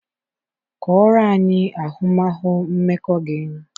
Kọọrọ anyị ahụmahụ mmekọ gị